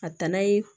A danna ye